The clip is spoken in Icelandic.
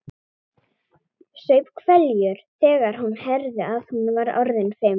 Saup hveljur þegar hún heyrði að hún var orðin fimm.